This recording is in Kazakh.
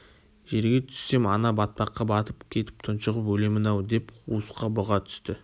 жерге түссем ана батпаққа батып кетіп тұншығып өлемін-ау деп қуысқа бұға түсті